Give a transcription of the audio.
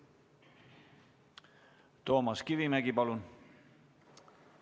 Toomas Kivimägi, palun!